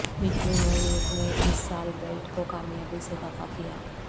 میونویر نے اس سال بیلٹ کو کامیابی سے دفاع کیا